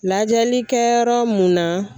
Lajɛli kɛyɔrɔ mun na